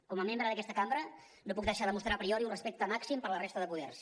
com a membre d’aquesta cambra no puc deixar de mostrar a priori un respecte màxim per la resta de poders